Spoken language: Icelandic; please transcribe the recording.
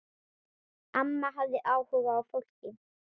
Amma hafði áhuga á fólki.